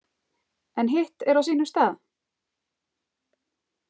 En hitt er á sínum stað?